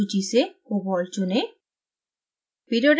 सूची से cobalt चुनें